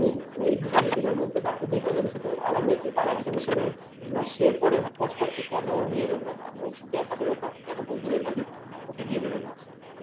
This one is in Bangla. ওই ওই দুদিনের মধ্যে মধ্যে বাকি যে কজনের সাথে সাথে ওর আলাপ হয়েছে তার একজনের সাথে এবার সে পড়ে পস্তাচ্ছে কেন নিয়ে বেরোলাম আমি ওর সাথে একা বেরোতাম কেন বন্ধুদের মাঝে ওকে নিয়ে বেরোলাম